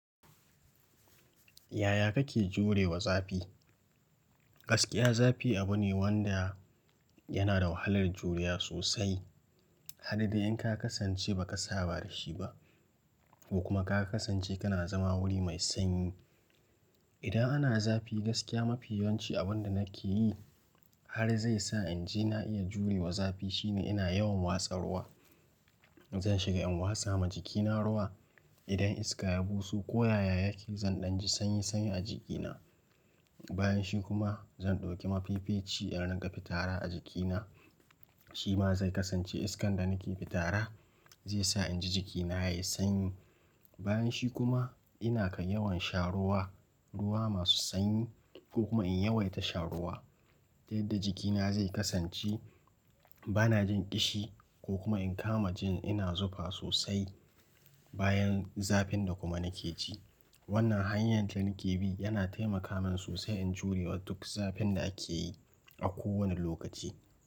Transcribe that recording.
Yaya kake jurewa zafi? Gaskiya zafi abu ne wanda yana da wahalar juriya sosai, har dai in ka kasance ba ka saba da shi ba, ko kuma ka kasance kana zama wuri mai sanyi. Idan ana zafi gaskiya mafi yawanci abin da nake yi har zai sa in ji na iya jurewa zafi shine ina yawan watsa ruwa. Zan shiga in wasa ma jikina ruwa idan iska ya buso ko yaya yake zan ɗan ji sanyi sanyi a jikina. Bayan shi kuma zan ɗauki mafifeci in rinƙa fitara a jikina, shi ma zai kasance iskan da nake fitara zai sa in ji jikina yayi sanyi. Bayan shi kuma ina kan yawan sha ruwa, ruwa masu sanyi ko kuma in yawaita shan ruwa, ta yadda jikina zai kasance bana jin ƙishi ko kuma in kama jin ina zufa sosai bayan zafin da kuma nake ji. Wannan hanyar da nake bi yana taimaka min sosai in jurewa duk zafin da ake yi a kowane lokaci.